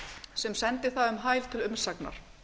sem sendi það um hæl til umsagnar